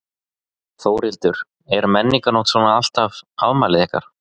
Þórhildur: Er Menningarnótt svona alltaf afmælið ykkar?